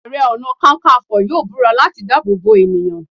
Àrẹ-ọ̀nà-kákanfọ̀ yóò búra láti dáàbò bo ènìyàn.